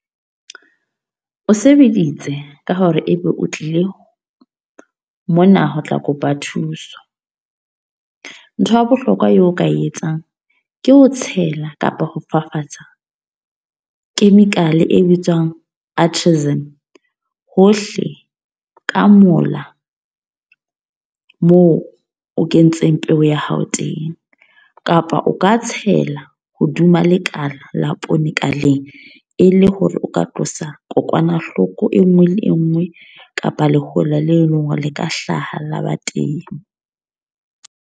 O sebeditse, ka hore e be o tlile mona ho tla kopa thuso. Ntho ya bohlokwa eo o ka e etsang. Ke ho tshela kapa ho fafatsa chemical e bitswang artisim hohle ka mola, moo o kentseng peo ya hao teng. Kapa o ka tshela hoduma lekala la poone ka leng. E le hore o ka tlosa kokwanahloko e nngwe le e nngwe, kapa lehola leo eleng hore le ka hlaha la ba teng.